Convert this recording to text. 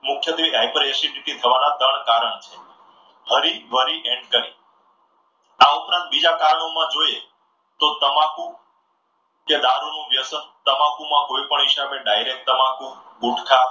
મુખ્યત્વે high per acidity થવાના ત્રણ કારણ છે. hurry worry and curry આ ઉપરાંત બીજા કારણો માં જોઈએ તો તમાકુ, કે દારૂનું વ્યસન તમાકુ માં કોઈપણ હિસાબે direct તમાકુ, ગુટકા